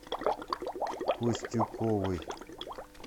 костюковой